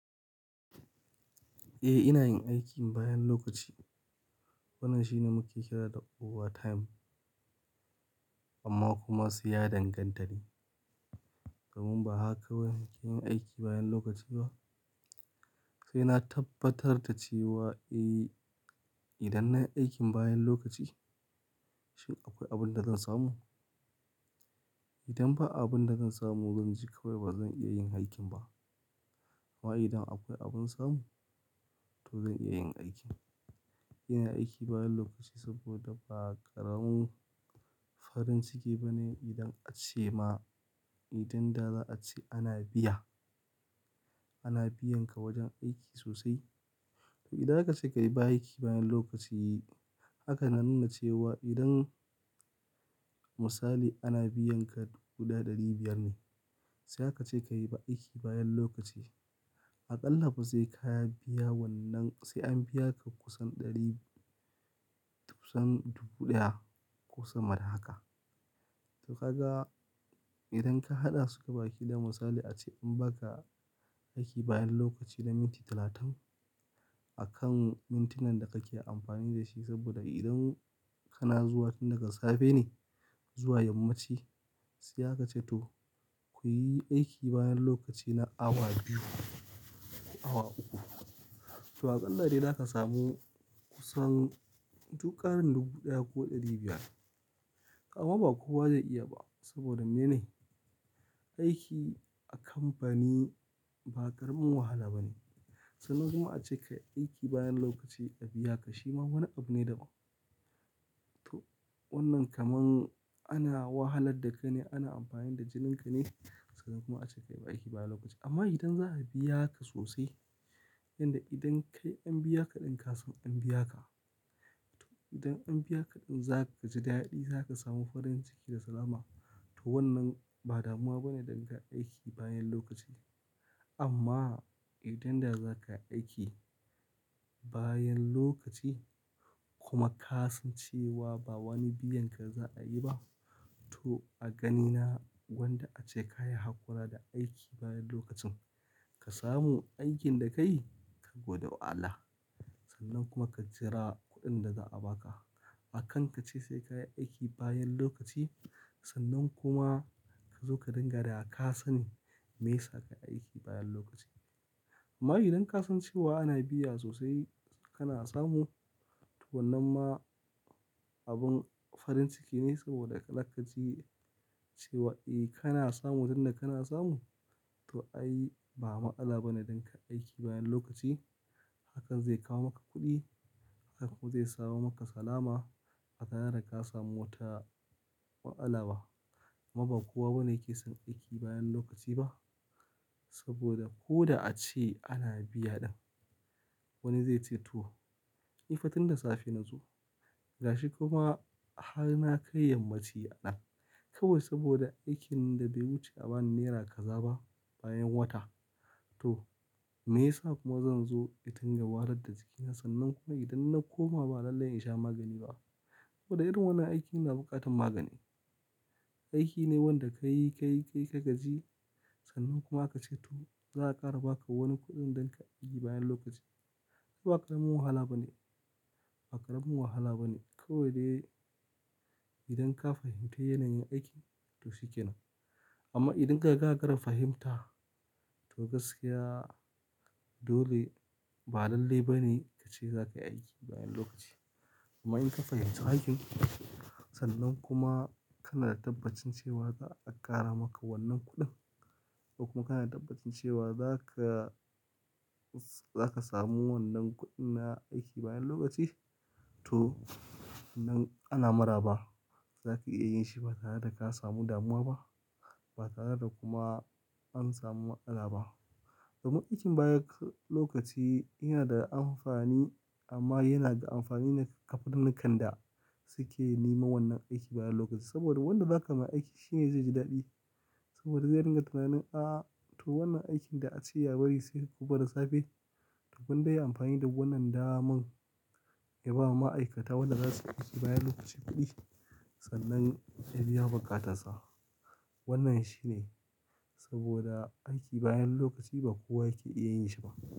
Eh ina yin aikin bayan lokaci. Wannan shine muke kira da over time amma kuma ai ya danganta ne. Domin ba haka kawai ake yin aiki bayan lokaci ba. Sai na tabbatar da cewa, eh idan nayi aikin bayan lokaci shin akwai abin da zan samu? Idan ba abin da zan samu zan ji kawai ba zan iya yin aikin ba. Amma idan akwai abin samu to zan iya yin aikin. Ina aiki bayan lokaci saboda ba ƙaramin farin ciki ba ne idan ace ma, idan da za a ce ana biya, ana biyan ka wajen aiki sosai. To idan aka ce ka yi ba aiki bayan lokaci haka na nuna cewa idan misali ana biyan ka guda ɗari biyar ne sai aka ce ka yi aiki bayan lokaci. A ƙalla kuma sai ka ya biya wannan sai an biya ka kusan ɗari, tusan dubu ɗaya kusan mara haka. To ka ga idan ka haɗa su ke baki da misali ace in baka aiki bayan lokaci na minti talatin akan mintunan da kake amfani da shi saboda idan kana zuwa tun daga safe ne zuwa yammaci sai aka ce to kuyi aiki bayan lokaci na awa biyu, awa uku. To a ƙalla dai zaka samu kusan duƙarin dubu ɗaya ko ɗari biyar. Amma ba kowa zai iya ba saboda mene? Aiki a kamfani ba ƙaramin wahala ba ne. Sannan kuma ace ka yi aiki bayan lokaci a biya ka shima wani abu ne daban. To wannan kamar ana wahalar da kai ne, ana amfani da jininka ne sannan kuma ace ka yi aiki bayan lokaci. Amma idan za a biya ka sosai yanda idan kai an biya ka ɗin ka san an biya ka. To idan an biya ka ɗin za ka ji daɗi, za ka samu farin ciki da salama to wannan ba damuwa bane danga aiki bayan lokaci. Amma idan da za ka aiki bayan lokaci kuma ka san cewa ba wani biyan ka za a yi ba to a ganina wanda ace ka yi haƙora da aiki bayan lokacin ka samu aikin da ka yi ka gode wa Allah. Sannan kuma ka jira kuɗin da za a baka. A kanka ce sai ka yi aiki bayan lokaci sannan kuma ka zo ka dinga riƙa da kasani me yasa ka yi aiki bayan lokaci. Amma idan ka san cewa ana biya sosai kana samu to wannan ma abin farin ciki ne saboda ka lakkaci cewa eh kana samu danna kana samu to ai ba matsala bane dan ka aiki bayan lokaci hakan zai kawo maka kuɗi, hakan zai saba maka salama ba tare da ka samu wata ma'anala ba. Amma ba kowa bane yake son aiki bayan lokaci ba saboda ko da ace ana biya ɗin wani zai ce to, ni fa tin da safe na zo gashi kuma har na kai yammaci a ɗan kawai saboda aikin da bai wuce a bani naira kaza ba bayan wata. To me yasa kuma zan zo in dinga wahalar da jikina sannan kuma idan na koma ba lallai in sha magani ba? Saboda irin wannan aiki yana buƙatar magani. Aiki ne wanda ka yi, ka yi, ka yi ka gaji sannan kuma aka ce to za a ƙara baka wani kuɗin dan ka yi bayan lokaci. Ai ba ƙaramin wahala bane, ba ƙaramin wahala bane kawai dai idan ka fahimci yanayin aikin to shi ke nan. Amma idan ka ga gara fahimta to gaskiya dole ba lallai bane ka ce za ka yi aiki bayan lokaci. Amma in ka fahimci aikin sannan kuma kana da tabbacin cewa za a ƙara maka wannan kuɗin ko kuma kana da tabbacin cewa za ka, za ka samu wannan kuɗin na aiki bayan lokaci to nan ana maraba. Zaka iya yin shi ba tare da ka samu damuwa ba, ba tare da kuma an samu matsala ba. Domin aikin bayan lokaci yana da amfani amma yana ga amfani ne ga faɗan nan kanda suke nema wannan aiki bayan lokaci saboda wanda za ka ma aiki shi ne zai ji daɗi saboda zai ringa tunanin, a to wannan aikin da ace ya bari sai gobe da safe to gwanda yayi amfani da wannan daman ya bawa ma'aikata wannan zasu yi aiki bayan lokaci kuɗi sannan ya biya buƙatansa. Wannan shine saboda aiki bayan lokaci ba kowa yake iya yin shi ba.